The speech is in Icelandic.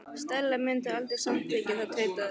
Stella mundi aldrei samþykkja það- tautaði